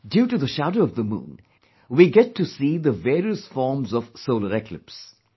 Due to the shadow of the moon, we get to see the various forms of solar eclipse